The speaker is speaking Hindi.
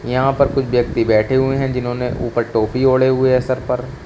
यहां पर कुछ व्यक्ति बैठे हुए हैं जिन्होंने ऊपर टोपी ओढ़े हुए हैं सर पर।